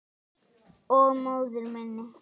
Og móður minni.